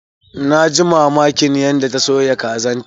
Na ji mamakin yadda ta soya kazan ta.